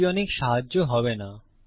এটি অনেক সাহায্য হবে না